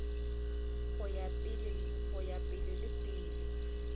go ya pele le pele